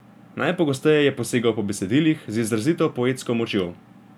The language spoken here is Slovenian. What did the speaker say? Najpogosteje je posegal po besedilih z izrazito poetsko močjo.